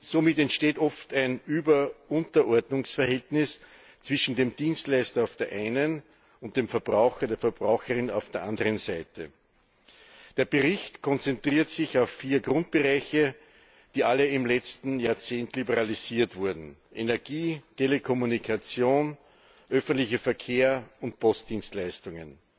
Somit entsteht oft ein Über Unterordnungsverhältnis zwischen dem Dienstleister auf der einen und dem Verbraucher und der Verbraucherin auf der anderen Seite. Der Bericht konzentriert sich auf vier Grundbereiche, die alle im letzten Jahrzehnt liberalisiert wurden Energie, Telekommunikation, öffentlicher Verkehr und Postdienstleistungen.